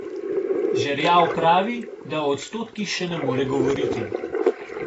Žerjav pravi, da o odstotkih še ne more govoriti.